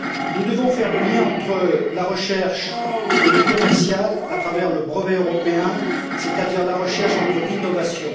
Nous devons faire le lien entre la recherche et l'aspect commercial à travers le brevet européen, c'est à dire entre la recherche et l'innovation.